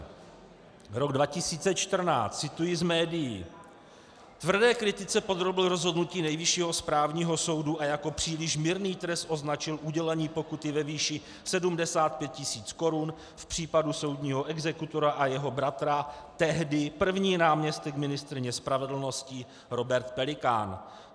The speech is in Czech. Rok 2014 - cituji z médií: Tvrdé kritice podrobil rozhodnutí Nejvyššího správního soudu a jako příliš mírný trest označil udělení pokuty ve výši 75 tis. korun v případu soudního exekutora a jeho bratra tehdy první náměstek ministryně spravedlnosti Robert Pelikán.